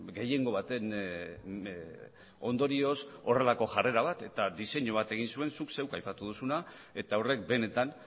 gehiengo baten ondorioz horrelako jarrera bat eta diseinu bat egin zuen zuk zeuk aipatu duzuna eta horrek benetan